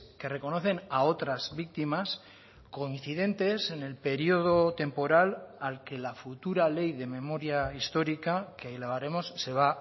que reconocen a otras víctimas coincidentes en el periodo temporal al que la futura ley de memoria histórica que elevaremos se va